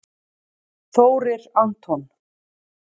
Þórir Anton